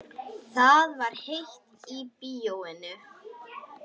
Það var heitt í bíóinu.